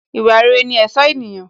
Ìwà rere ní ẹ̀ṣọ́ ènìyàn